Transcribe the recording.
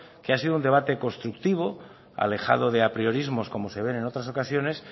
que ha sido un debate constructivo alejado de apriorismos como se ven en otras ocasiones